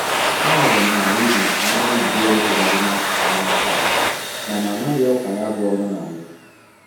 A nụrụ m na redio na-aga ebido ịrụ ụzọ dị n'akụkụ ahịa taa mana amaghị ọkwa ya bụ ọrụ na mbụ.